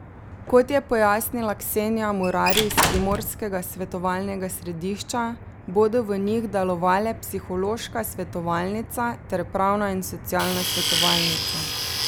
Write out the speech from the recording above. Kot je pojasnila Ksenija Murari iz Primorskega svetovalnega središča, bodo v njih delovale psihološka svetovalnica ter pravna in socialna svetovalnica.